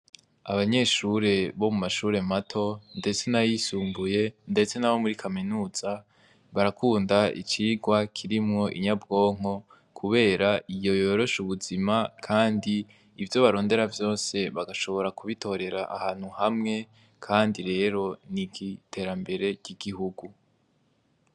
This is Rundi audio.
Abanyeshure bo mu mashure mato, ndetse na yisumbuye, ndetse n'abo muri kaminuza barakunda icirwa kirimwo inyabwonko, kubera iyo yoroshe ubuzima, kandi ivyo barondera vyose bagashobora kubitorera ahantu hamwe, kandi rero ni igiterambere r'igiho ugu.